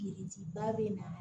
Biriki ba bɛ na